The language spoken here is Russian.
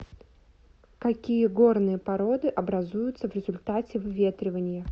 какие горные породы образуются в результате выветривания